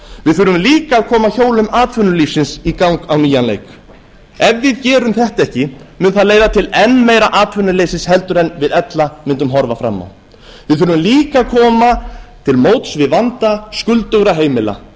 við þurfum líka að koma hjólum atvinnulífsins í gang á nýjan leik ef við gerum þetta ekki mun það leiða til enn meira atvinnuleysis en við ella mundum horfa fram á við þurfum líka að koma til móts við vanda skuldugra heimila